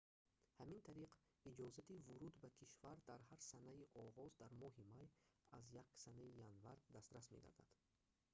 ҳамин тариқ иҷозати вуруд ба кишвар дар ҳар санаи оғоз дар моҳи май аз 1 санаи январ дастрас мегардад